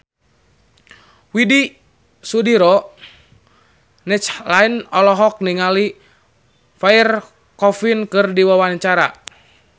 Widy Soediro Nichlany olohok ningali Pierre Coffin keur diwawancara